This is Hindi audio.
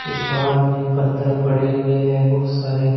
इस पहाड़ में पत्थर पड़े हुए हैं बहुत सारे।